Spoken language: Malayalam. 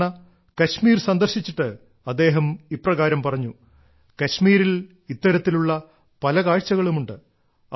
ഒരുതവണ കശ്മീർ സന്ദർശിച്ചിട്ട് അദ്ദേഹം ഇപ്രകാരം പറഞ്ഞു കശ്മീരിൽ ഇത്തരത്തിലുള്ള പല കാഴ്ചകളും ഉണ്ട്